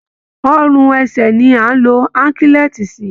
Ọrùn ẹsẹ ni à ń lo Áńkílẹ́ẹ̀ti sí